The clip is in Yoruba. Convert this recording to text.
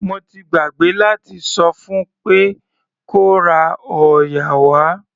Mo ti gbàgbé láti sọ fún pé kó ra òòyà wá.